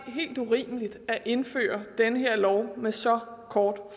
helt urimeligt at indføre den her lov med så kort